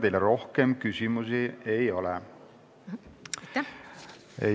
Teile rohkem küsimusi ei ole.